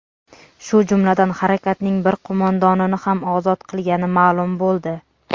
shu jumladan harakatning bir qo‘mondonini ham ozod qilgani ma’lum bo‘ldi.